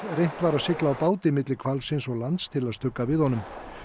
reynt var að sigla á báti milli hvalsins og lands til að stugga við honum